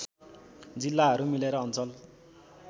जिल्लाहरू मिलेर अञ्चल